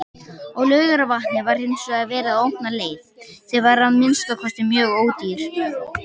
Á Laugarvatni var hinsvegar verið að opna leið, sem var að minnsta kosti mjög ódýr.